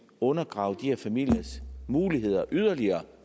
undergrave de her familiers muligheder yderligere